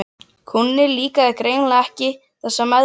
Kúnni líkaði greinilega ekki þessi meðferð.